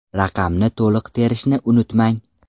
Raqamni to‘liq terishni unutmang.